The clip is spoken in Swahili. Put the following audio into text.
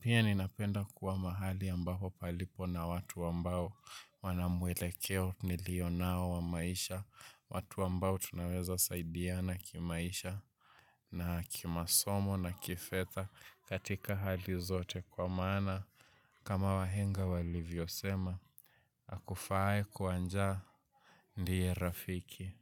Pia ninapenda kuwa mahali ambapo palipo na watu ambao wana mwelekeo nilio nao wa maisha. Watu ambao tunaweza saidiana kimaisha na kimasomo na kifedha katika hali zote kwa maana kama wahenga walivyosema, akufaae kwa njaa ndiye rafiki.